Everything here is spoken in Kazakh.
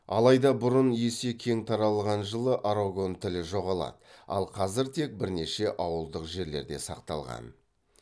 алайда бұрын есе кең таралған жылы арагон тілі жоғалады ал қазір тек бірнеше ауылдық жерлерде сақталған